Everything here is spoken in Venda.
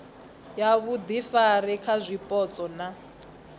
ya vhuifari kha zwipotso na